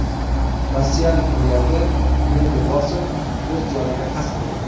Rossiyalik milliarder Dmitriy Bosov o‘z joniga qasd qildi.